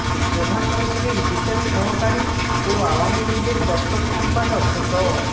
প্রধানমন্ত্রীর বিশেষ সহকারী ও আওয়ামী লীগের দপ্তর সম্পাদক ড